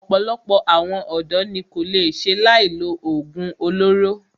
Ọ̀pọ̀lọpọ̀ àwọn ọ̀dọ́ ní kò lè ṣe láì lo oògùn olóró.